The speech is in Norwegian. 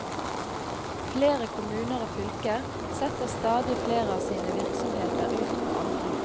Flere kommuner og fylker setter stadig flere av sine virksomheter ut på anbud.